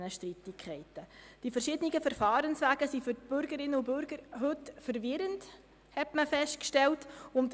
Man hat festgestellt, dass die verschiedenen Verfahrenswege für die Bürgerinnen und Bürger heute verwirrend sind.